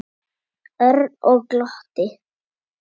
Örn og glotti.